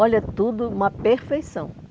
Olha tudo, uma perfeição.